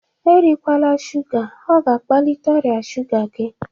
Erikwaala shuga! Ọ ga-akpalite ọrịa shuga gị